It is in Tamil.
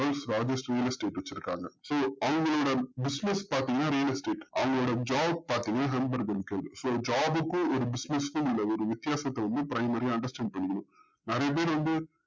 worlds largest realestate வச்சுருக்காங்க so அவங்களோட business பாத்திங்கனா real estate அவங்களோட job பாத்திங்கன்னா ham burger so job க்கும் ஒரு business க்கும் உள்ள ஒரு வித்தியாசத்த வந்து primery யா understand பண்ணிக்கணும் நறைய பேர் வந்து